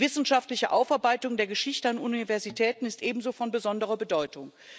Die wissenschaftliche Aufarbeitung der Geschichte an Universitäten ist ebenso von besonderer Bedeutung.